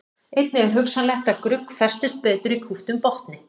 Einnig er hugsanlegt að grugg festist betur í kúptum botni.